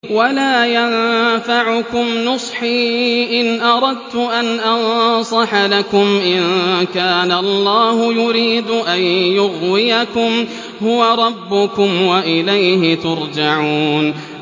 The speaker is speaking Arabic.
وَلَا يَنفَعُكُمْ نُصْحِي إِنْ أَرَدتُّ أَنْ أَنصَحَ لَكُمْ إِن كَانَ اللَّهُ يُرِيدُ أَن يُغْوِيَكُمْ ۚ هُوَ رَبُّكُمْ وَإِلَيْهِ تُرْجَعُونَ